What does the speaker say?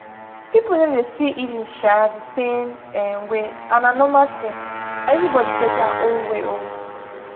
people no dey see healing um the same um way and na normal thin everybody get their own way um